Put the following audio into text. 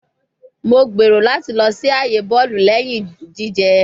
Mo gbero lati lọ si aaye bọọlu lẹhin jijẹ